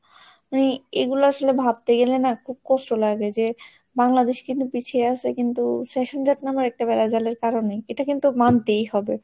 মানে এগুলো আসলে ভাবতে গেলে না খুব কষ্ট লাগে যে বাংলাদেশ কিন্তু পিছিয়ে আছে কিন্তু session জট নামের একটা বেড়া জালের কারণে এটা কিন্তু মানতেই হবে।